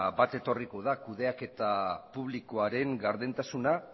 bat etorriko da kudeaketa publikoaren gardentasuna